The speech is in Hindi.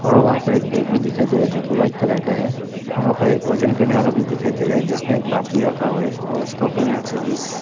और वहां पर एक बैग भी दिखाई दे रहा है जो की व्हाइट कलर का है वहां पर एक वजन करने वाला भी दिखाई दे रहा है जिसमें एक बाती रखा हुआ है और उसका ऊपर में चिल्लीस--